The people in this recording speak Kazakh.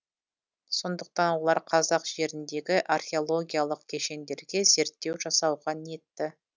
сондықтан олар қазақ жеріндегі археологиялық кешендерге зерттеу жасауға ниетті